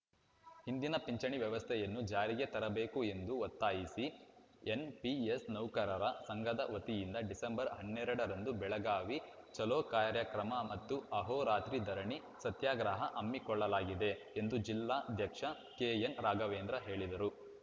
ಹಿಂದಿನ ಪಿಂಚಣಿ ವ್ಯವಸ್ಥೆಯನ್ನು ಜಾರಿಗೆ ತರಬೇಕು ಎಂದು ಒತ್ತಾಯಿಸಿ ಎನ್‌ಪಿಎಸ್‌ ನೌಕರರ ಸಂಘದ ವತಿಯಿಂದ ಡಿಸೆಂಬರ್ ಹನ್ನೆರಡರಂದು ಬೆಳಗಾವಿ ಚಲೋ ಕಾರ್ಯಕ್ರಮ ಮತ್ತು ಆಹೋರಾತ್ರಿ ಧರಣಿ ಸತ್ಯಾಗ್ರಹ ಹಮ್ಮಿಕೊಳ್ಳಲಾಗಿದೆ ಎಂದು ಜಿಲ್ಲಾಧ್ಯಕ್ಷ ಕೆಎನ್‌ ರಾಘವೇಂದ್ರ ಹೇಳಿದರು